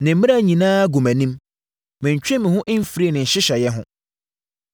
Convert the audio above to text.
Ne mmara nyinaa gu mʼanim; mentwee me ho mfirii ne nhyehyɛeɛ ho.